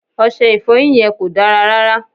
Ọṣẹ Ìfọ̀yín yẹn kò dára rárá